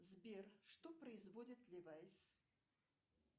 сбер что производит ливайс